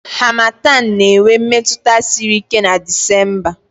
Harmattan na-enwe mmetụta siri ike na Disemba